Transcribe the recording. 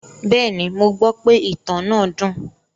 Bẹ́ẹ̀ni, mo gbọ́ pe ìtàn náà dùn.